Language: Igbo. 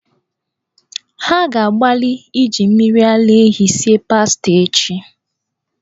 Ha ga-agbalị iji mmiri ara ehi esi pasta echi.